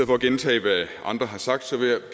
for at gentage hvad andre har sagt